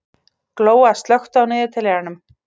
Glóa, slökktu á niðurteljaranum.